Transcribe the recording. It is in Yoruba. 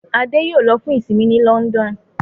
Ade yóò ló fún isinmi ní London.